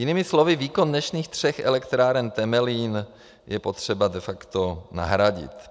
Jinými slovy, výkon dnešních tří elektráren Temelín je potřeba de facto nahradit.